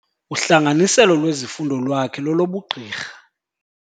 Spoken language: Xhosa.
Uhlanganiselo lwezifundo lwakhe lolobugqirha.